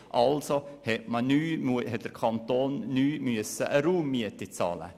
Also musste der Kanton neu eine Raummiete bezahlen.